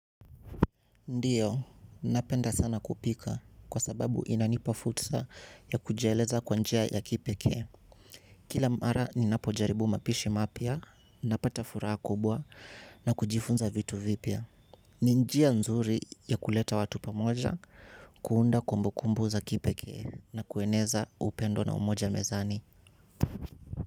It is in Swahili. Ndiyo, napenda sana kupika kwa sababu inanipa fursa ya kujieleza kwa njia ya kipekee. Kila mara ninapojaribu mapishi mapya ninapata furaha kubwa na kujifunza vitu vipya. Ni njia nzuri ya kuleta watu pamoja, kuunda kumbukumbu za kipekee na kueneza upendo na umoja mezani.